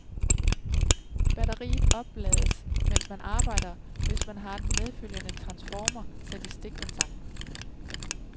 Batteriet oplades mens man arbejder, hvis man har den medfølgende transformator sat i stikkontakten.